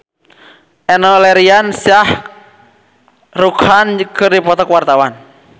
Enno Lerian jeung Shah Rukh Khan keur dipoto ku wartawan